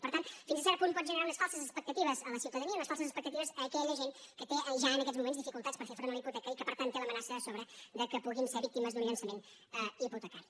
i per tant fins a cert punt pot gene·rar unes falses expectatives a la ciutadania unes fal·ses expectatives a aquella gent que té ja en aquests mo·ments dificultats per fer front a la hipoteca i que per tant té l’amenaça a sobre que puguin ser víctimes d’un llançament hipotecari